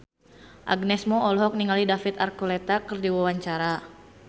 Agnes Mo olohok ningali David Archuletta keur diwawancara